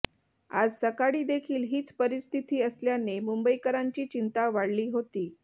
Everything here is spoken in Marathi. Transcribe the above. आज सकाळी देखील हीच परिस्थिती असल्याने मुंबईकरांची चिंता वाढली होती